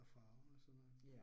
Og farver og sådan noget